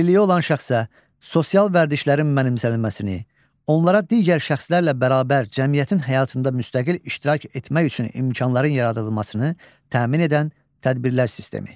Əlilliyi olan şəxsə sosial vərdişlərin mənimsənilməsini, onlara digər şəxslərlə bərabər cəmiyyətin həyatında müstəqil iştirak etmək üçün imkanların yaradılmasını təmin edən tədbirlər sistemi.